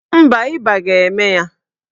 Mba, ịba ga-eme ya.